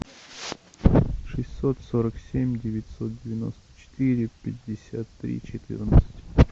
шестьсот сорок семь девятьсот девяносто четыре пятьдесят три четырнадцать